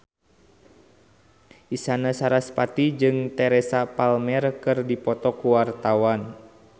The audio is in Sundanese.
Isyana Sarasvati jeung Teresa Palmer keur dipoto ku wartawan